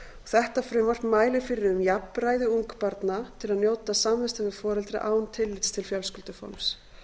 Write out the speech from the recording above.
þetta frumvarp mælir fyrir um jafnræði ungbarna til að njóta samvista við foreldra án tillits til fjölskylduforms